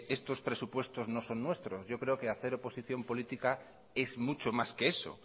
estos presupuestos no son nuestros yo creo que hacer oposición política es mucho más que eso